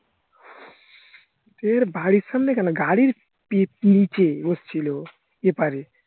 হের্ বাড়ির সামনে কেন গাড়ির নিচে বসছিলো এপারে